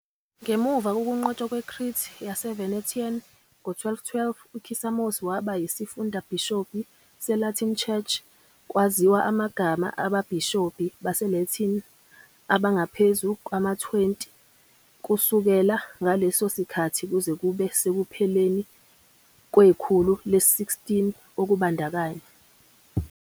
Ngemuva kokunqotshwa kweCrete yaseVenetian ngo-1212, uKissamos waba yisifundabhishobhi seLatin Church. Kwaziwa amagama ababhishobhi baseLatin abangaphezu kwama-20 kusukela ngaleso sikhathi kuze kube sekupheleni kwekhulu le-16, okubandakanya.